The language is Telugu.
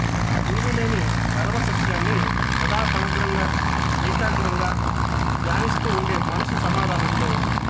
వీలులేని పరమ సత్యాన్ని సదా సమగ్రంగా ఏకాగ్రంగా ధ్యానిస్తూ ఉండే మనసు సమాధానంలో